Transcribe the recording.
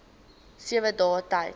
sewe dae tyd